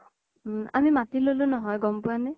উম আমি মাতি ল'লো নহয় গ্'ম পুৱা নে?